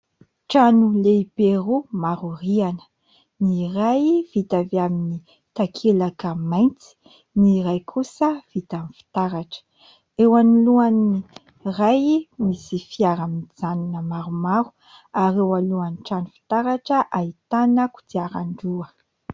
Trano lehibe roa maro rihana : ny iray vita avy amin'ny takelaka mainty, ny iray kosa vita amin'ny fitaratra. Eo anoloan'ny iray misy fiara mijanona maromaro ary eo alohan'ny trano fitaratra ahitana kodiaran-droa.